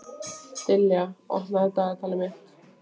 Dilja, opnaðu dagatalið mitt.